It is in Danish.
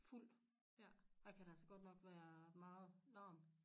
Fuld der kan der så godt nok være meget larm